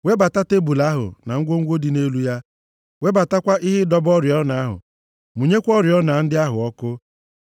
Webata tebul ahụ, na ngwongwo dị nʼelu ya, webatakwa ihe ịdọba oriọna ahụ. Mụnyekwa oriọna ndị ahụ ọkụ.